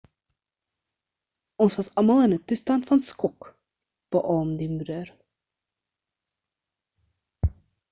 ons was almal in 'n toestand van skok beaam die moeder